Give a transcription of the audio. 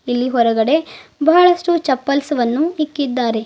ಇಲ್ಲಿ ಹೊರಗಡೆ ಬಹಳಷ್ಟು ಚಪ್ಪಲ್ಸ್ ವನ್ನು ಇಕ್ಕಿದ್ದಾರೆ.